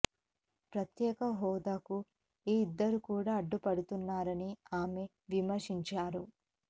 ప్రత్యేక హోదాకు ఈ ఇద్దరూ కూడ అడ్డుపడుతున్నారని ఆమె విమర్శించారు